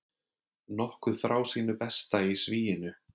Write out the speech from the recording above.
Nokkuð frá sínu besta í sviginu